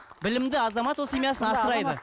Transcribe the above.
білімді азамат ол семьясын асырайды